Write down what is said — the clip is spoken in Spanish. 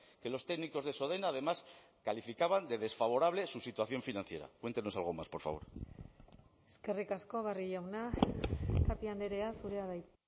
que los técnicos de sodena además calificaban de desfavorable su situación financiera cuéntenos algo más por favor eskerrik asko barrio jauna tapia andrea zurea da hitza